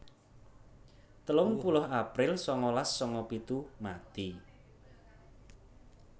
telung puluh april sangalas sanga pitu mati